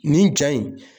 Nin ja in